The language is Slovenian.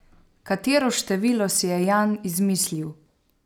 Katero število si je Jan izmislil?